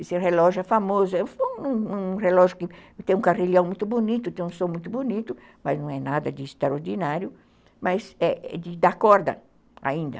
Esse relógio é famoso, é um relógio que tem um carrilhão muito bonito, tem um som muito bonito, mas não é nada de extraordinário, mas é de dar corda ainda.